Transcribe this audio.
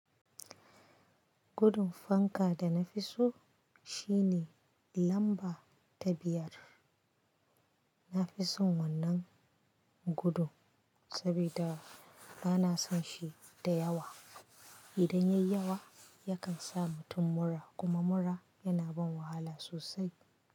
Gudun fanka da na fi so shi ne lamba ta biyar. Na fi son wannan gudu saboda ba na son shi da yawa. Idan yayi yawa yakan sa mutum mura kuma mura yana ban wahala sosai.